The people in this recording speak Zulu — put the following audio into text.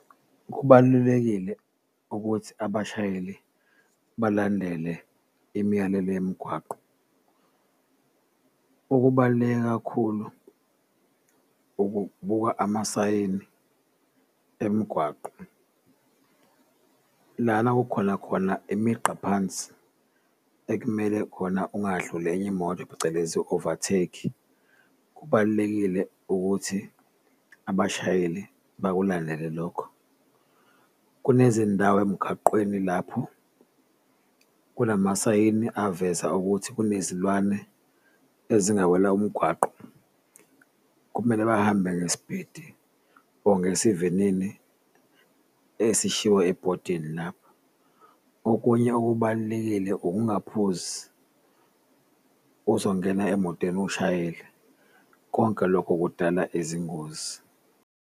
Kubalulekile ukuthi abashayeli balandele imiyalelo yemgwaqo, okubaluleke kakhulu ukubuka amasayini emigwaqo lana kukhona khona imigqa phansi ekumele khona ungadluli enye imoto phecelezi overtake, kubalulekile ukuthi abashayeli bakulandele lokho. Kunezindawo emgaqweni lapho kunamasayini aveza ukuthi kunezilwane ezingawela umgwaqo, kumele bahambe ngespidi or ngesivinini esishiwe ebhodini lapho, okunye okubalulekile ukungaphuzi uzongena emotweni ushayele konke lokho kudala izingozi.